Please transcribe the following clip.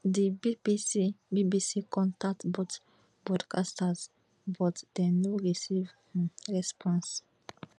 di bbc bbc contact both broadcasters but dem no receive um response